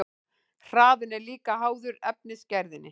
Hraðinn er líka háður efnisgerðinni.